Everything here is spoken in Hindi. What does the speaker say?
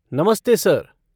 नमस्ते सर!